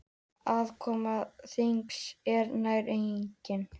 Aðkoma þingsins er nær engin.